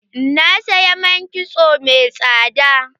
Na saya man kitso mai tsada.